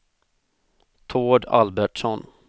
Tord Albertsson